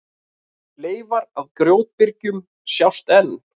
Leifar af grjótbyrgjum sjást enn.